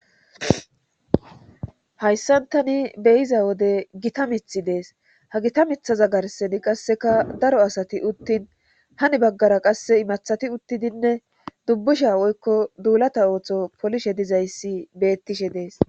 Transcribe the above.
hayssantani beyiza wode gita mithi dees ha gita mithaza garseni qasseka daro asati uttin hani baggara qasse imathati uttidinne dubbusha woykko duulata ooththo polishe dizayssi beettishe dees